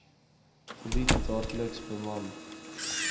gebied daagliks beman